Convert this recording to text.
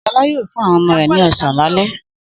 Sọlá yóò fún àwọn ọmọ rẹ̀ ní ọ̀sán lálẹ́.